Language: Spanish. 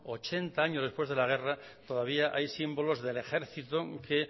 ochenta años después de la guerra todavía hay símbolos del ejercito que